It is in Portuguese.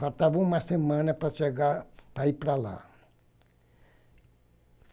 Faltava uma semana para chegar, para ir para lá.